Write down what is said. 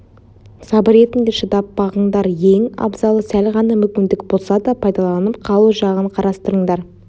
сабыр етіңдер шыдап бағыңдар ең абзалы сәл ғана мүмкіндік болса да пайдаланып қалу жағын қарастырыңдар